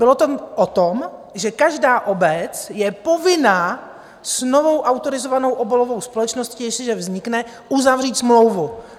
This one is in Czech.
Bylo to o tom, že každá obec je povinna s novou autorizovanou obalovou společností, jestliže vznikne, uzavřít smlouvu.